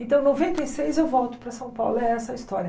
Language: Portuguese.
Então, em noventa e seis eu volto para São Paulo, é essa a história.